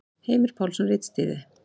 Heimir Pálsson ritstýrði.